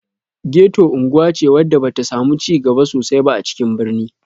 Geto unguwa ce wadda ba ta samu cigaba sosai ba a cikin birni